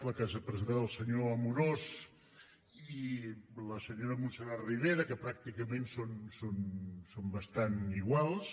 la que ens han presentat el senyor amorós i la senyora montserrat ribera que pràcticament són bastant iguals